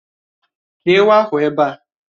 Kéé ewu ahụ ebe a!